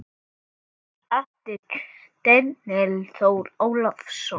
eftir Daníel Þór Ólason